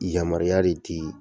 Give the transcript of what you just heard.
Yamaruya de di